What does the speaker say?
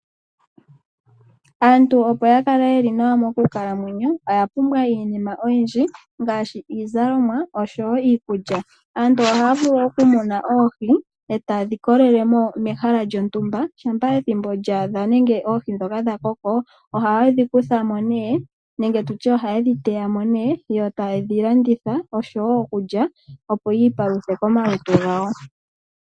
Aantu opo yakale yeli nawa mokukalamwenyo oyapumbwa iinima oyindji ngaashi iizalomwa oshowo iikulya. Aantu ohaya vulu okumuna oohi e tadhi kolelemo mehala lyontumba, shampa ethimbo lyaadha nenge oohi dhoka dhakoko ohayedhi kuthamo ne, nenge tutye ohayedhi teyamo ne yo tayedhi landitha oshowo okulya opo yiipaluthe komalutu gawo.